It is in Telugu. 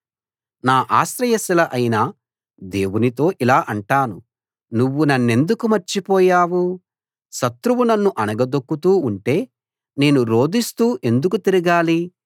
నా ఆశ్రయశిల అయిన దేవునితో ఇలా అంటాను నువ్వు నన్నెందుకు మర్చిపోయావు శత్రువు నన్ను అణగదొక్కుతూ ఉంటే నేను రోదిస్తూ ఎందుకు తిరగాలి